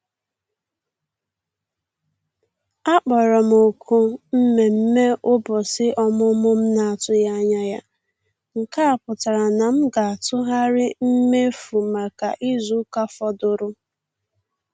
A kpọrọ m òkù mmemme ụbọchị ọmụmụ m na-atụghị anya ya, nke a pụtara na m ga-atụgharị mmefu maka izu ụka fọdụrụ